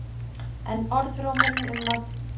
En orðrómurinn um að